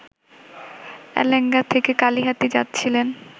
এলেঙ্গা থেকে কালিহাতী যাচ্ছিলেন